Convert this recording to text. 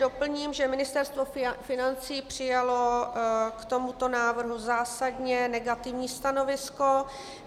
Doplním, že Ministerstvo financí přijalo k tomuto návrhu zásadně negativní stanovisko.